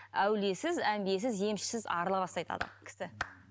әулиесіз әмбиесіз емшісіз арыла бастайды адам кісі